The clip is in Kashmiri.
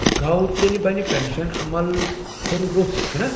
گوٚو تیٚلہِ بنہِ پٮ۪شن عمل کھُرِ روٚس، چھُنا؟